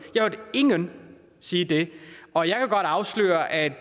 jeg hørte ingen sige det og jeg kan godt afsløre at